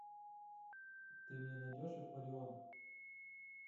ты мне найдешь акварион